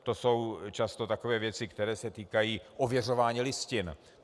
To jsou často takové věci, které se týkají ověřování listin.